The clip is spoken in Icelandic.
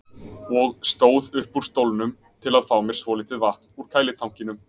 og stóð upp úr stólnum til að fá mér svolítið vatn úr kælitankinum.